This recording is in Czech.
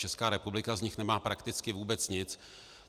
Česká republika z nich nemá prakticky vůbec nic.